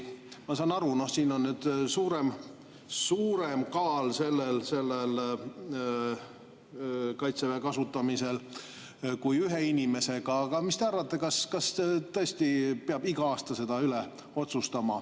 Ma saan aru, et siin on nüüd Kaitseväe kasutamisel suurem kaal kui ühe inimesega, aga mis te arvate, kas tõesti peab iga aasta seda otsustama…